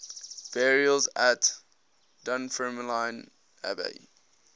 burials at dunfermline abbey